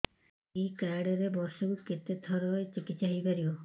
ଏଇ କାର୍ଡ ରେ ବର୍ଷକୁ କେତେ ଥର ଚିକିତ୍ସା ହେଇପାରିବ